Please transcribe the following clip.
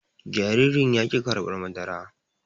Jaririn yaki karɓar madara